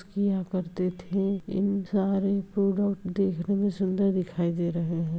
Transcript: किया करते थे इन सारे प्रोडक्ट देखने मे सुंदर दिखाई दे रहे हैं |